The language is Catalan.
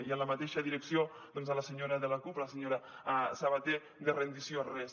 i en la mateixa direcció doncs a la senyora de la cup la senyora sabater de rendició res